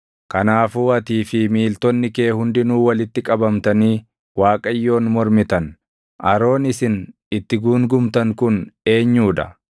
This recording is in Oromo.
Kanaafuu atii fi miiltonni kee hundinuu walitti qabamtanii Waaqayyoon mormitan. Aroon isin itti guungumtan kun eenyuu dha?”